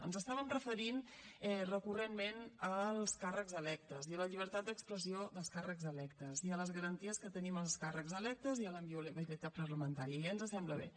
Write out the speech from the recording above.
ens estàvem referint recurrentment als càrrecs electes i la llibertat d’expressió dels càrrecs electes i a les garanties que tenim els càrrecs electes i a la inviolabilitat parlamentària i ja ens sembla bé